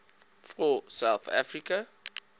for south africa